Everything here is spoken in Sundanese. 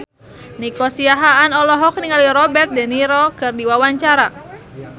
Nico Siahaan olohok ningali Robert de Niro keur diwawancara